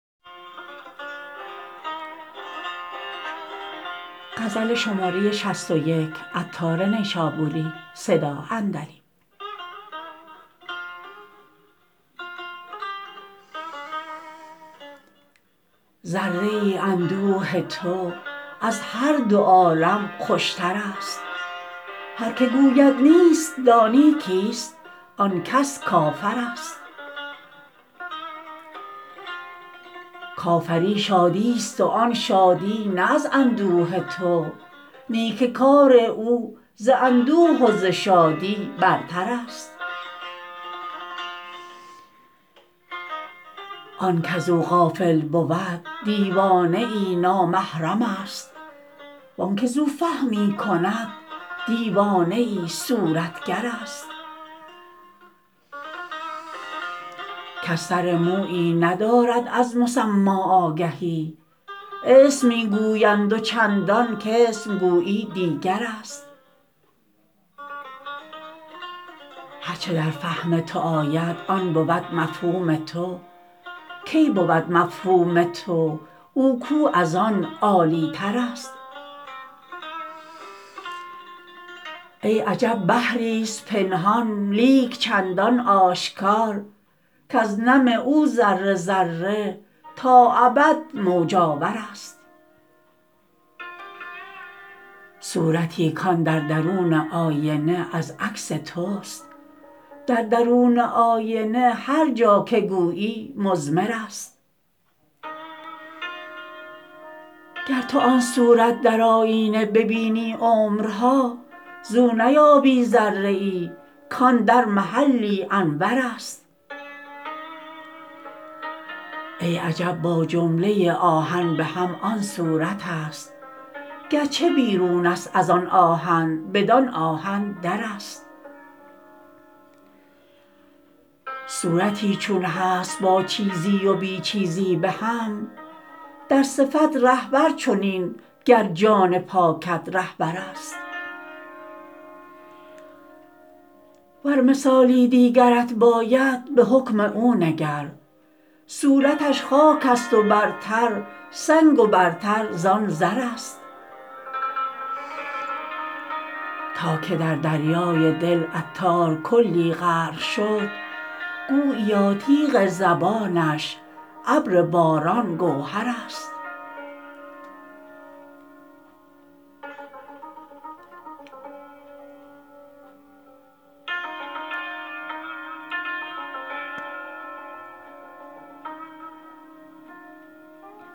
ذره ای اندوه تو از هر دو عالم خوشتر است هر که گوید نیست دانی کیست آن کس کافر است کافری شادی است و آن شادی نه از اندوه تو نی که کار او ز اندوه و ز شادی برتر است آن کزو غافل بود دیوانه ای نامحرم است وانکه زو فهمی کند دیوانه ای صورتگر است کس سر مویی ندارد از مسما آگهی اسم می گویند و چندان کاسم گویی دیگر است هرچه در فهم تو آید آن بود مفهوم تو کی بود مفهوم تو او کو از آن عالی تر است ای عجب بحری است پنهان لیک چندان آشکار کز نم او ذره ذره تا ابد موج آور است صورتی کان در درون آینه از عکس توست در درون آینه هر جا که گویی مضمر است گر تو آن صورت در آیینه ببینی عمرها زو نیابی ذره ای کان در محلی انور است ای عجب با جمله آهن به هم آن صورت است گرچه بیرون است ازآن آهن بدان آهن در است صورتی چون هست با چیزی و بی چیزی به هم در صفت رهبر چنین گر جان پاکت رهبر است ور مثالی دیگرت باید به حکم او نگر صورتش خاک است و برتر سنگ و برتر زان زر است تا که در دریای دل عطار کلی غرق شد گوییا تیغ زبانش ابر باران گوهر است